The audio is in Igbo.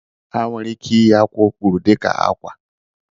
A nwere ike ịyi akwa okpuru dị ka akwa.